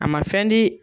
A ma fɛn di